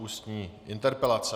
Ústní interpelace